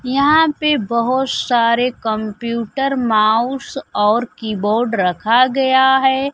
यहां पर बहोत सारे कंप्यूटर माउस और कीबोर्ड रखा गया है।